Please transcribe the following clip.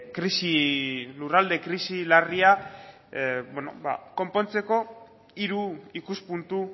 krisi lurralde krisi larria konpontzeko hiru ikuspuntu